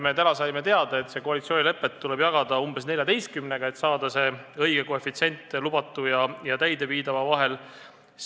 Täna me saime teada, et koalitsioonilepet tuleb jagada umbes 14-ga, et saada see õige koefitsient lubatu ja täideviidava vahel.